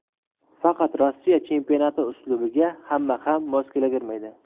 Faqat Rossiya chempionati uslubiga hamma ham mos kelavermaydi.